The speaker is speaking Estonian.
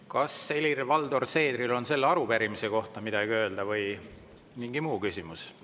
Kas Helir-Valdor Seederil on selle arupärimise kohta midagi öelda või on mingi muu küsimus?